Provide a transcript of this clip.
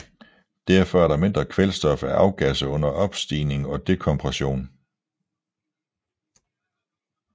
Derfor er der mindre kvælstof at afgasse under opstigning og dekompression